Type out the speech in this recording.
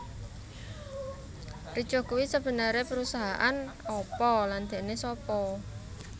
Ricoh kuwi sebenere perusahaan apa lan dhekne sapa